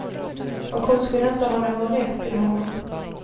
Och hon skulle inte ha någon rätt till honom.